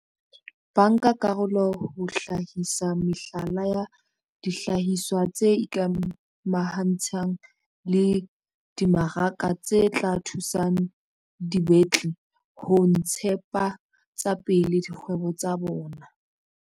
Bankakarolo ho hlahisa mehlala ya dihlahiswa tse ikamahantshang le dimaraka tse tla thusang dibetli ho ntshetsapele dikgwebo tsa bona.